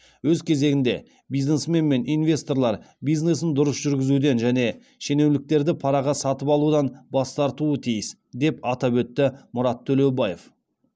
өз кезегінде бизнесмен мен инвесторлар бизнесін дұрыс жүргізуден және шенеуніктерді параға сатып алудан бас тартуы тиіс деп атап өтті мұрат төлеубаев